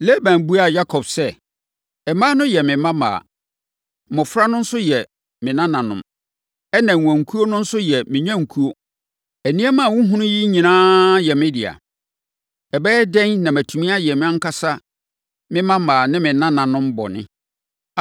Laban buaa Yakob sɛ, “Mmaa no yɛ me mmammaa, mmɔfra no nso yɛ me nananom, ɛnna nnwankuo no nso yɛ me nnwankuo. Nneɛma a wohunu yi nyinaa yɛ me dea. Ɛbɛyɛ dɛn na matumi ayɛ mʼankasa me mmammaa ne me nananom bɔne?